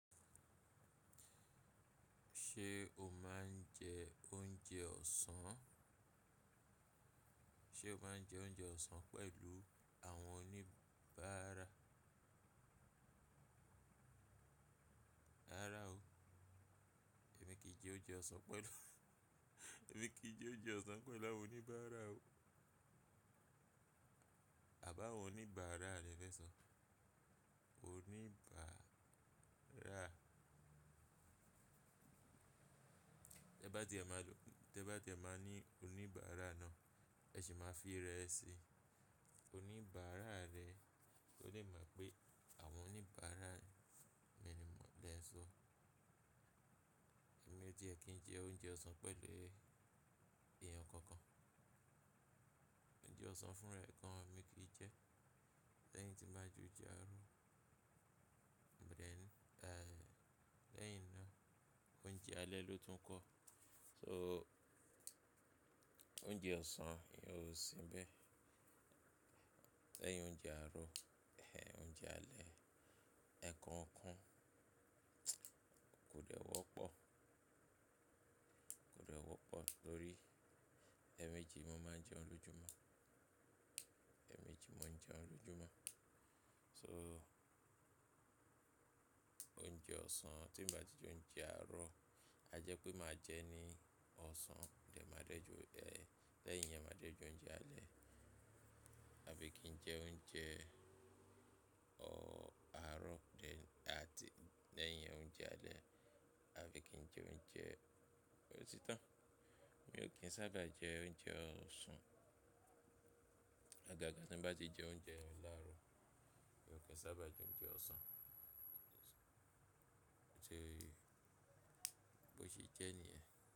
Ṣé o máa ń jẹ oúnjẹ ọ̀sán? Ṣé o máa ń jẹ oúnjẹ ọ̀sán pẹ̀lú àwọn oníbàárà? Rárá o, èmi kì í jẹ oúnjẹ ọ̀sán pẹ̀lú, èmi kì í jẹ oúnjẹ ọ̀sán pẹ̀lú àwọn oníbàárà o. Àbáwọn oníbàárà lẹ̀ fẹ́ sọ. Oníbàárà. Tẹ́ bá ti a máa lo-- tẹ́ bá ti a máa ní oníbàárà náà, ẹ sì máa fi rẹ sí oníbàárà rẹ̀ kó le mọ̀ pé àwọn oníbàárà mi ni mò ń lè ń so. Èmi ò jẹ̀ kí n jẹ oúnjẹ ọ̀sán pẹ̀lú èèyàn kankan. Oúnjẹ ọ̀sán fún rẹ̀ kan mi kì í jẹ. Lẹ́yìn tí màá jẹ oúnjẹ àárọ̀, lẹ́yìn náà oúnjẹ alẹ́ ló tún ń kọ́. So oúnjẹ ọ̀sán ìyẹn ò sínbẹ̀. Lẹ́yìn oúnjẹ àárọ̀, ẹ oúnjẹ alẹ́, ẹ̀ẹ̀kan kan kò dẹ́wọ́ pọ̀, kò dẹ́wọ́ pọ̀ tórí ẹ́ méjì mo máa ń jẹun lójoojúmọ́, ẹ́ méjì mò ń jẹun lójoojúmọ́. So oúnjẹ ọ̀sán tí ń bá ti jẹ oúnjẹ àárọ̀, a jẹ́ pé màá jẹ ní ọ̀sán, lẹ́yìn yẹn màá jẹ oúnjẹ alẹ́. Àbí kí n jẹ oúnjẹ ọ àárọ̀ de àti lẹ́yìn oúnjẹ alẹ́, àbí kí n jẹ oúnjẹ. Ó ti tán. Mi ò kí ń sábà jẹ oúnjẹ ọ̀sán. Ọ̀gágà tí bá ti jẹ oúnjẹ láàárọ̀, mi ò kí ń sábà jẹ oúnjẹ ọ̀sán. Ṣé bó ṣe jẹ́ níyẹn?